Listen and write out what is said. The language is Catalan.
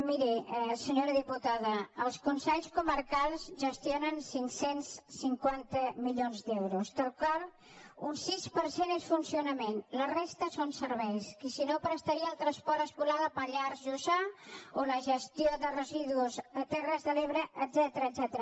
miri senyora diputada els consells comarcals gestionen cinc cents i cinquanta milions d’euros dels quals un sis per cent és funcionament la resta són serveis i si no prestaria el transport escolar al pallars jussà o la gestió de residus de terres de l’ebre etcètera